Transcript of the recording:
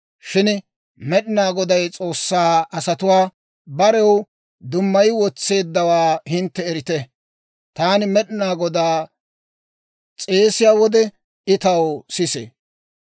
Shin Med'inaa Goday S'oossaa asatuwaa barew dummay wotseeddawaa hintte erite. Taani Med'inaa Godaa s'eesiyaa wode, I taw sisee.